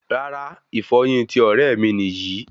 Rárá, ìfọyín tí ọrẹ mí níyì